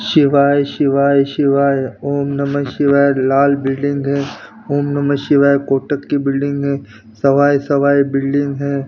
शिवाय शिवाय शिवाय ओम नमः शिवाय लाल बिल्डिंग है ओम नमः शिवाय कोटक की बिल्डिंग है सवाय सवाय बिल्डिंग है।